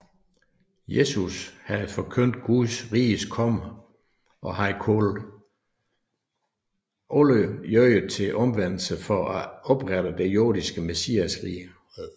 Jesus havde forkyndt Guds riges komme og havde kaldt jøderne til omvendelse for at oprette et jordisk messiasrige